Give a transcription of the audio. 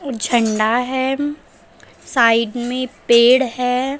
झंडा है साइड में पेड़ है।